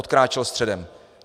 Odkráčel středem.